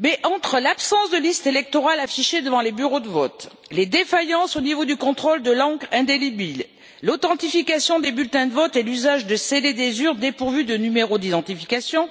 Mais entre l'absence de listes électorales affichées devant les bureaux de vote, les défaillances au niveau du contrôle de l'encre indélébile, l'authentification des bulletins de vote et l'usage de scellés des urnes dépourvus de numéro d'identification,